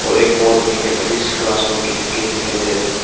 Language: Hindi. और एक बोर्ड में कैटलिस्ट क्लास बोल के लिख के दिखाई दे रहे हैं।